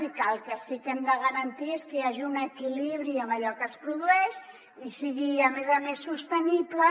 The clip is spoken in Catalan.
i que el que sí que hem de garantir és que hi hagi un equilibri amb allò que es produeix i sigui a més a més sostenible